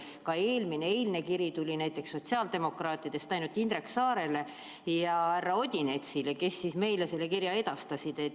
Ka eelmine, eilne kiri tuli näiteks sotsiaaldemokraatidest ainult Indrek Saarele ja härra Odinetsile, kes siis meile selle kirja edastasid.